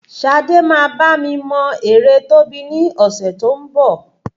Ṣadé máa bá mi mọ ère Tóbi ní ọ̀sẹ̀ tí ń bọ̀.